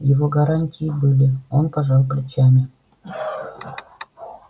его гарантии были он пожал плечами